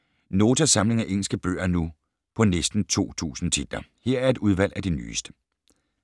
Notas samling af engelske bøger er nu på næsten 2000 titler. Her er et udvalg af de nyeste.